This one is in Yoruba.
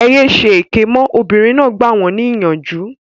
Ẹ yé ṣèké mọ́! Obìnrin náà gbà wọn ní ìyànjú